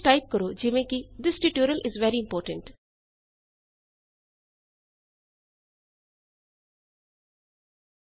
ਕੁਝ ਟਾਈਪ ਕਰੋ ਜਿਵੇਂ ਕਿ this tutorial is very important